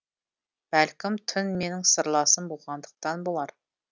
бәлкім түн менің сырласым болғандықтан болар